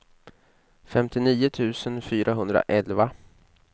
femtionio tusen fyrahundraelva